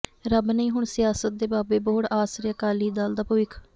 ਰੱਬ ਨਹੀਂ ਹੁਣ ਸਿਆਸਤ ਦੇ ਬਾਬੇ ਬੋਹੜ ਆਸਰੇ ਅਕਾਲੀ ਦਲ ਦਾ ਭਵਿੱਖ